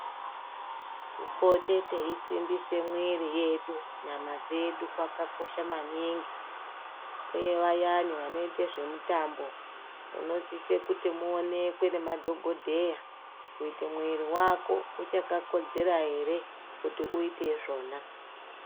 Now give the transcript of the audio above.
Kupote teisimbisa mwiri yedu nyama dzedu kwakakosha maningi uye vayani vanoita zvemitambo munosise kuti muoneke ngemadhokodheya kuti mwiri wako uchakakodzera ere kuti uite izvona.